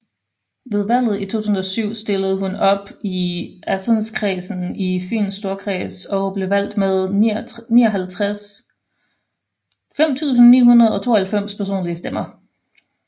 Ved valget i 2007 stillede hun op i Assenskredsen i Fyns Storkreds og blev valgt med 5992 personlige stemmer